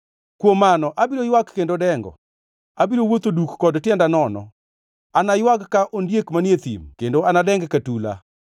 Kuom mano, abiro ywak kendo dengo; abiro wuotho duk kod tienda nono. Anaywag ka ondiek manie thim kendo nadengi ka tula.